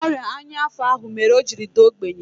Ọrịa ọnya afọ ahụ mere o jiri daa ogbenye